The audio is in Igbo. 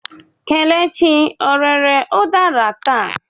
Kelechi ọ rere udara taa?